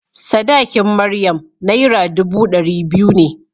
Sadakin Maryam Naira dubu ɗari biyu ne.